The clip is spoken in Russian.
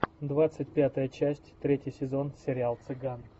двадцать пятая часть третий сезон сериал цыган